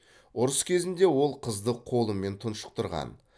ұрыс кезінде ол қызды қолымен тұншықтырған